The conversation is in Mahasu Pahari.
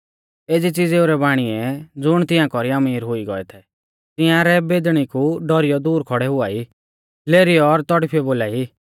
एज़ी च़िज़ेऊ रै बाणीऐ ज़ुण तिंआ कौरी अमीर हुई गौऐ थै तिंआरै बेदणी कु डौरीयौ दूर खौड़ै हुआई लेरीयौ और तौड़फिऔ बोलाई